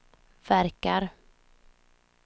verkar